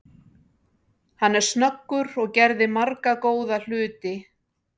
Hann er snöggur og gerði marga góða hluti.